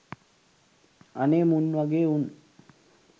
අනේ මුන් වගේ උන්